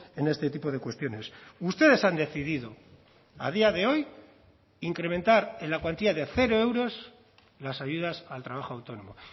en este tipo de cuestiones ustedes han decidido a día de hoy incrementar en la cuantía de cero euros las ayudas al trabajo autónomo